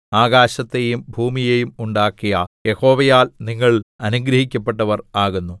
ആകാശത്തെയും ഭൂമിയെയും ഉണ്ടാക്കിയ യഹോവയാൽ നിങ്ങൾ അനുഗ്രഹിക്കപ്പെട്ടവർ ആകുന്നു